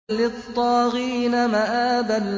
لِّلطَّاغِينَ مَآبًا